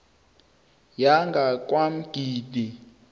yangakwamgidi